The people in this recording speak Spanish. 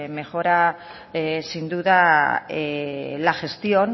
mejora sin duda la gestión